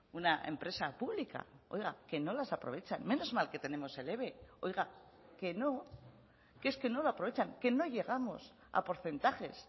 una empresa pública oiga que no las aprovechan menos que tenemos el eve oiga que no que es que nos lo aprovecha que no llegamos a porcentajes